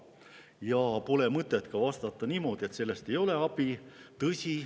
Ja pole mõtet vastata ka niimoodi, et sellest ei ole abi.